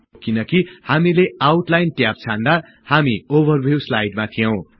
यो किनकि हामीले आउटलाइन ट्याब छान्दा हामी ओभरभिउ स्लाईडमा थियौं